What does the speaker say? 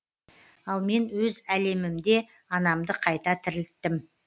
ал мен өз әлемімде анамды қайта тірілттім